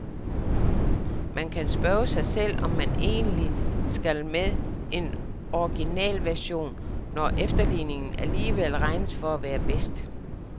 Man kan spørge sig selv, hvad man egentlig skal med en originalversion, når efterligningen alligevel regnes for at være bedst.